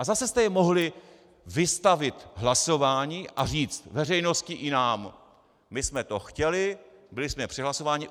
A zase jste jej mohli vystavit hlasování a říct veřejnosti i nám: My jsme to chtěli, byli jsme přehlasováni.